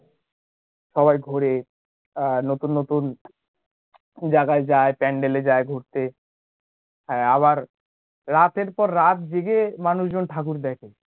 সবাই ঘোরে, আহ নতুন নতুন জায়গায় যায় pandal এ যায় ঘুরতে আবার রাতের পর রাত জেগে মানুষজন ঠাকুর দেখে